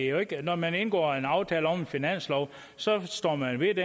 jo ikke når man indgår en aftale om en finanslov så står man ved